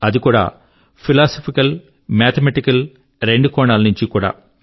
అది కూడా ఫిలాసఫికల్ మరియు మాథమాటికల్ రెండు కోణాల నుంచీ కూడా